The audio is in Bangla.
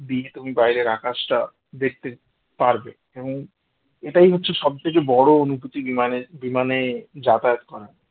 দিয়ে তুমি বাইরের আকাশটা দেখতে পারবে এবং এটাই হচ্ছে সবথেকে বড় অনুভূতি বিমানে বিমানে যাতায়াত করার